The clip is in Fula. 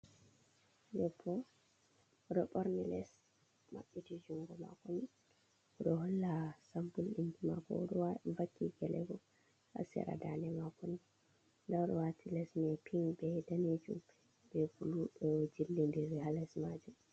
Yoppo o ɗo ɓorni les maɓɓiti junngo maako ni.O ɗo holla sampul ɗinki maako ,o ɗo vakki gele bo haa sera ndaande maako ni. Ndaa o ɗo waati les maako ping be daneejum be bulu ɗo jillindiri haa les maajum.